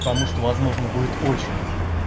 потому что возможно будет очередь